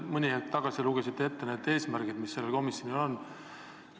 Mõni hetk tagasi lugesite meile ette need eesmärgid, mis sellel komisjonil on.